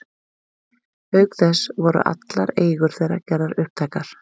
Auk þess voru allar eigur þeirra gerðar upptækar.